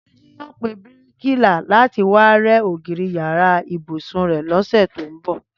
Túnjí yóò pe bíríkìlà láti wá rẹ́ ògiri yàrá ibùsùn rẹ̀ lọ́sẹ̀ tó ń bọ̀